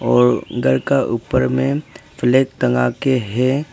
और घर का ऊपर में फ्लैग टंगा के है।